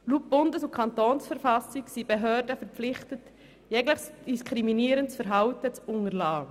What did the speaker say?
Laut Bundes- und Kantonsverfassung sind Behörden verpflichtet, jegliches diskriminierende Verhalten zu unterlassen.